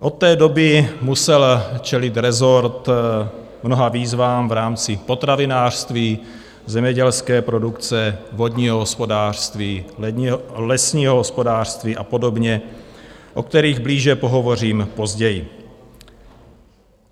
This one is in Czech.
Od té doby musel čelit rezort mnoha výzvám v rámci potravinářství, zemědělské produkce, vodního hospodářství, lesního hospodářství a podobně, o kterých blíže pohovořím později.